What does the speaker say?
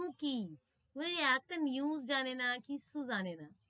হম কি ওই এক্টা news জানে না কিচ্ছু জানে না,